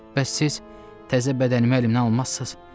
Bəs siz təzə bədənimi əlimdən almazsız?